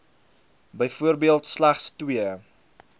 byvoorbeeld slegs twee